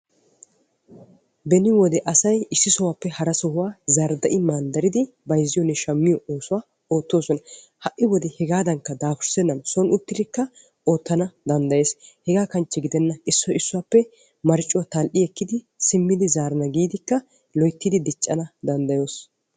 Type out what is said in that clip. Beni wode asay issi sohuwaappe hara sohuwaa zardda"i manddaridi bayzziyoonne shammiyoo oosuwaa oottosona. ha'i wode hegaadan dapurssenainkka son uttidikka oottana danddayees. hegaa kanchche gidenna issoy issuwaappe marccuwaa tal"i ekkidi simmidi zaarana gidikka loyttidi diccana danddayees.